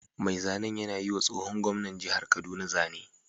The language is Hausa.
Mai zanen yana yiwa tsohon gwamnan jihar kaduna zane